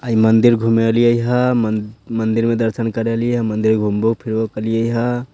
आ इ मंदिर घुमेएलिए हेय मन मंदिर में दर्शन करे लिए एलहिए हेय मंदिर घूमबो फिरबो केलहिए हेय।